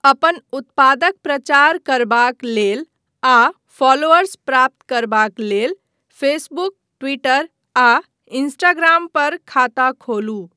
अपन उत्पादक प्रचार करबाक लेल आ फॉलोअर्स प्राप्त करबाक लेल फेसबुक, ट्विटर, आ इंस्टाग्राम पर खाता खोलू।